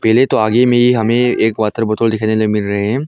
पहले तो आगे में ही हमें एक वातर बोतल दिखाई देने मिल रहे हैं।